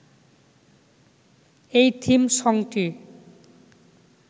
এই থিম সংটি